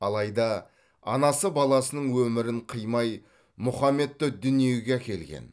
алайда анасы баласының өмірін қимай мұхаммедті дүниеге әкелген